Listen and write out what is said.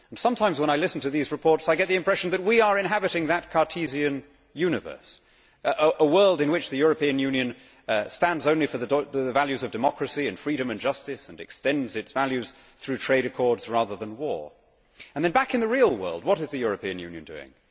Sometimes when I listen to these reports, I get the impression that we are inhabiting that Cartesian universe, a world in which the European Union stands only for the values of democracy and freedom and justice and extends its values through trade accords, rather than war. And then, back in the real world, what is the European Union doing?